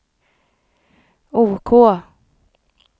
OK